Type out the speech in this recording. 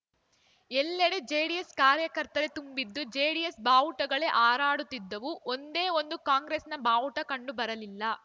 ಎಲ್ಲೆಡೆ ಜೆಡಿಎಸ್‌ ಕಾರ್ಯಕರ್ತರೇ ತುಂಬಿದ್ದು ಜೆಡಿಎಸ್‌ ಬಾವುಟಗಳೇ ಹಾರಾಡುತ್ತಿದ್ದವು ಒಂದೇ ಒಂದು ಕಾಂಗ್ರೆಸ್‌ನ ಬಾವುಟ ಕಂಡು ಬರಲಿಲ್ಲ